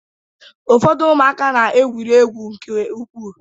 Ụfọdụ ụmụaka na-egwuri egwu nke ukwuu.